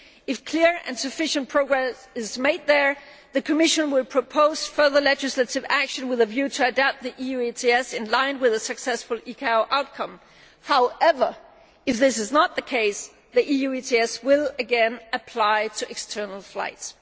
If clear and sufficient progress is made there, the Commission will propose further legislative action with a view to adapting the EU ETS in line with a successful ICAO outcome. However, if this is not the case, the EU ETS will again apply to external flights.